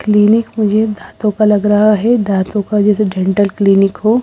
Clinic मुझे दांतों का लग रहा है दांतों का जैसे डेंटल क्लीनिक हो।